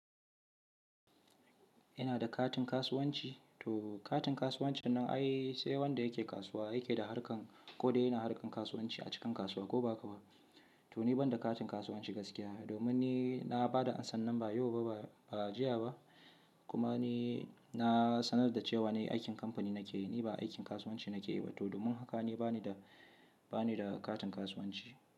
Ina da katin kasuwanci, to katin kasuwanci nan ai sai wanda yake kasuwa yake da harkan ko dai yana harkan kasuwanci a cikin kasuwa ko ba haka ba. To ni ban da katin kasuwanci gaskiya domin ni na bada a sannan nan ba yau ba ba, ba jiya ba kuma ni na sanar da cewa ne aikin kamfani nake yi, ni ba aikin kasuwanci nake yi ba toh domin haka ni bani da, bani da katin kasuwanci.